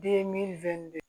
Den mi fɛn de